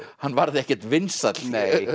hann varð ekkert vinsæll